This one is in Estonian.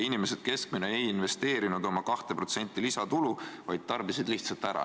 Inimesed keskmiselt ei investeerinud seda kahte protsenti lisatulu, vaid tarbisid lihtsalt ära.